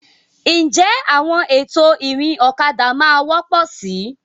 Ǹjẹ́ àwọn ètò ìrìn ọ̀kadà máa wọ́pọ̀ síi?